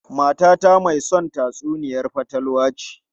Matata mai son tatsuniyar fatalwa ce.